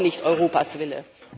Das ist auch nicht Europas Wille!